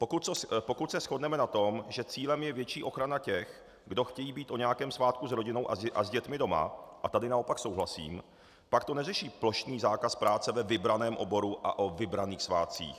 Pokud se shodneme na tom, že cílem je větší ochrana těch, kdo chtějí být o nějakém svátku s rodinou a s dětmi doma, a tady naopak souhlasím, pak to neřeší plošný zákaz práce ve vybraném oboru a o vybraných svátcích.